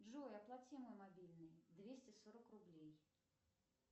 джой оплати мой мобильный двести сорок рублей